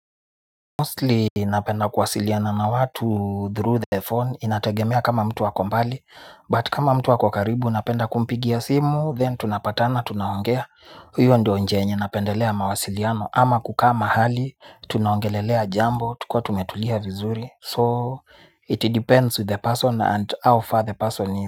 Mostly inapenda kwasiliana na watu through the phone inategemea kama mtu wakombali but kama mtu wakokaribu inapenda kumpigia simu then tunapatana tunaongea huyo ndio njenye napendelea mawasiliano ama kukaa mahali tunaongelelea jambo tukua tumetulia vizuri so it depends with the person and how far the person is.